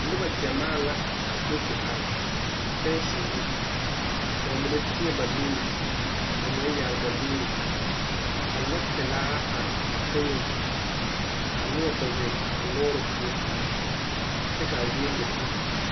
Noba gyamaa la a do te are fɛnse zu ka ba mine teɛ ba nuuri ka ba mine yaare ba nuuri ka lɔɔpelaa are teŋeŋ ka noba kpɛ zeŋ a lɔɔre poɔ kyɛ k,a zie le uli.